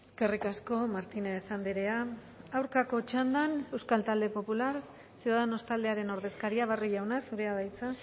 eskerrik asko martínez andrea aurkako txandan euskal talde popular ciudadanos taldearen ordezkaria barrio jauna zurea da hitza